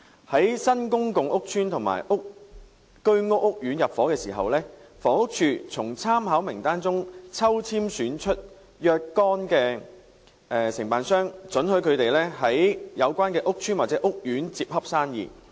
在新公共屋邨或居屋屋苑入伙時，房屋署會從參考名單中抽籤選出若干名承辦商，准許他們在有關屋邨或屋苑接洽生意。